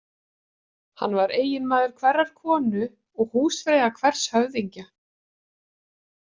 Hann var eiginmaður hverrar konu og húsfreyja hvers höfðingja.